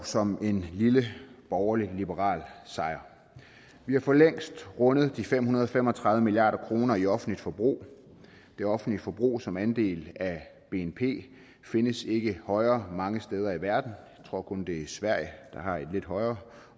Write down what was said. som en lille borgerlig liberal sejr vi har for længst rundet de fem hundrede og fem og tredive milliard kroner i offentligt forbrug det offentlige forbrug som andel af bnp findes ikke højere mange steder i verden jeg tror kun det er sverige der har et lidt højere